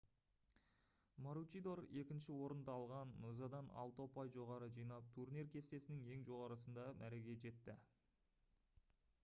маручидор екінші орынды алған нозадан алты ұпай жоғары жинап турнир кестесінің ең жоғарысында мәреге жетті